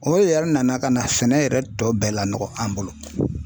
O yɛri nana ka na sɛnɛ yɛrɛ tɔ bɛɛ la nɔgɔ an bolo